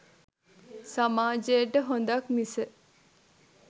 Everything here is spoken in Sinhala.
සමාජයට හොඳක්‌ මිස